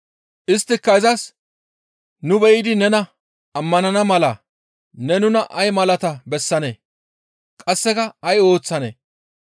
Isttika izas, «Nu be7idi nena ammanana mala ne nuna ay malaata bessanee? Qasseka ay ooththanee?